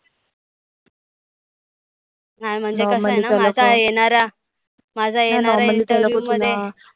नाय म्हणजे कस आहे ना माझा येणारा. माझा येणारा interview मध्ये